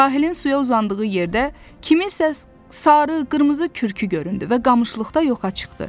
Sahilin suya uzandığı yerdə kimsə sarı, qırmızı kürkü göründü və qamışlıqda yoxa çıxdı.